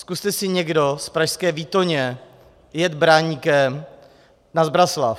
Zkuste si někdo z pražské Výtoně jet Braníkem na Zbraslav.